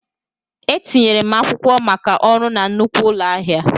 Etinyere m akwụkwọ maka ọrụ na nnukwu ụlọ ahịa.